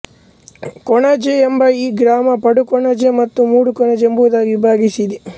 ಕೊಣಾಜೆ ಎಂಬ ಈ ಗ್ರಾಮ ಪಡುಕೊಣಾಜೆ ಮತ್ತು ಮೂಡುಕೊಣಾಜೆ ಎಂಬುದಾಗಿ ವಿಭಜಿಸಿದೆ